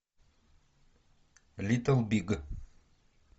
литл биг